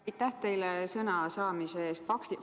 Aitäh teile sõna andmise eest!